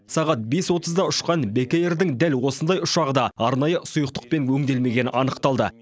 сағат бес отызда ұшқан бек эйрдің дәл осындай ұшағы да арнайы сұйықтықпен өңделмегені анықталды